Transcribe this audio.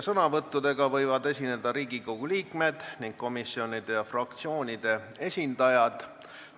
Sõnavõtuga võivad esineda komisjonide ja fraktsioonide esindajad ning ka teised Riigikogu liikmed.